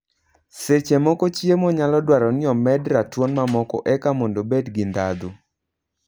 Seche moko chiemo nyalo dwaro ni omed ratuon mamoko eka mondo obed gi ndhadhu.